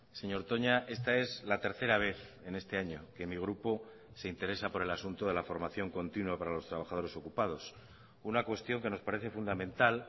señor toña esta es la tercera vez en este año que mi grupo se interesa por el asunto de la formación continua para los trabajadores ocupados una cuestión que nos parece fundamental